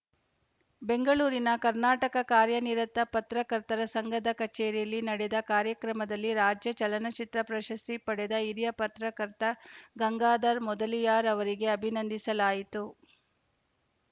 ಬೆಂಗಳೂರಿನ ಕರ್ನಾಟಕ ಕಾರ್ಯ ನಿರತ ಪತ್ರಕರ್ತರ ಸಂಘದ ಕಚೇರಿಯಲ್ಲಿ ನಡೆದ ಕಾರ್ಯಕ್ರಮದಲ್ಲಿ ರಾಜ್ಯ ಚಲನಚಿತ್ರ ಪ್ರಶಸ್ತಿ ಪಡೆದ ಹಿರಿಯ ಪತ್ರಕರ್ತ ಗಂಗಾಧರ್‌ ಮೊದಲಿಯಾರ್‌ ಅವರಿಗೆ ಅಭಿನಂದಿಸಲಾಯಿತು